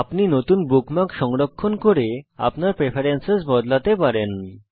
আপনি নতুন বুকমার্ক ও সংরক্ষণ করতে পারেন এবং এখানে আপনার প্রেফারেন্স বদলাতে পারেন